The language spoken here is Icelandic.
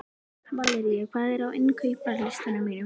Valería, hvað er á innkaupalistanum mínum?